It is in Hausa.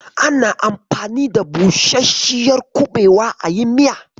Ana anfani da busasshiyar kuɓewa ayi miya.